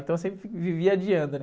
Então, eu sempre, vivia adiando, né?